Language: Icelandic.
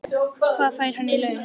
Hvað fær hann í laun?